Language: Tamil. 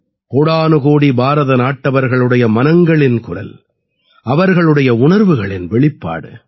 கோடானுகோடி பாரதநாட்டவர்களுடைய மனங்களின் குரல் அவர்களுடைய உணர்வுகளின் வெளிப்பாடு